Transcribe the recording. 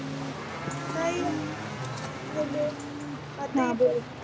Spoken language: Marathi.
नाही hello, आत्ता येतय का?